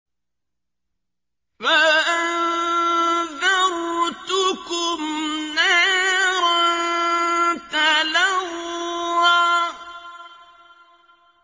فَأَنذَرْتُكُمْ نَارًا تَلَظَّىٰ